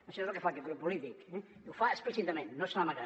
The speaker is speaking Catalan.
això és el que fa aquest grup polític eh i ho fa explícitament no se n’amaga